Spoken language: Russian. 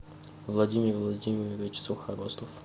владимир владимирович сухорослов